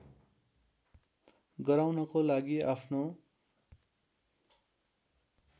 गराउनको लागि आफ्नो